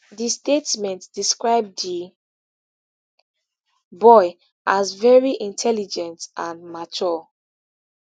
di statement describe di boy as veri intelligent and mature